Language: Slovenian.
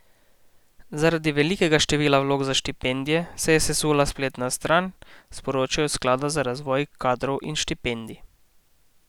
Zaradi velikega števila vlog za štipendije se je sesula spletna stran, sporočajo s sklada za razvoj kadrov in štipendij.